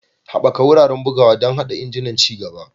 Haɓaka wuraren bugawa don haɗa injunan ci gaba.